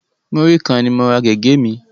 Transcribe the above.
Múrí kan ni mo ra gẹ̀gẹ́ mi